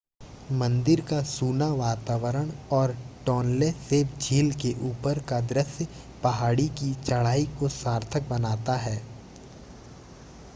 मंदिर का सूना वातावरण और टोनले सैप झील के ऊपर का दृश्य पहाड़ी की चढ़ाई को सार्थक बनाता है